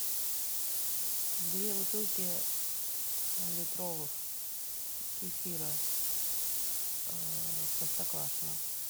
две бутылки литровых кефира простоквашино